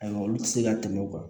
Ayiwa olu ti se ka tɛmɛ o kan